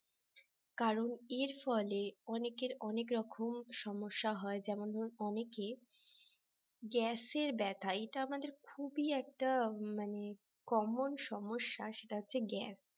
কারণ এর ফলে অনেকের অনেক রকম সমস্যা হয় যেমন ধরুন অনেকে গ্যাসের ব্যথা এটা আমাদের খুবই একটা মানে কমন সমস্যা সেটা হচ্ছে গ্যাস